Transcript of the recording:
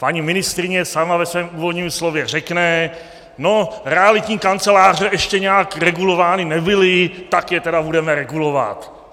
Paní ministryně sama ve svém úvodním slově řekne: no, realitní kanceláře ještě nijak regulovány nebyly, tak je tedy budeme regulovat.